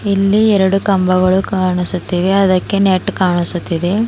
ಇಲ್ಲಿ ಎರಡು ಕಂಬಗಳು ಕಾಣಿಸುತ್ತಿವೆ ಅದಕ್ಕೆ ನೆಟ್ ಕಾಣಿಸುತ್ತಿದೆ.